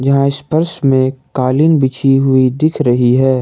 यहां इस फर्श में कालीन बिछी हुई दिख रही है।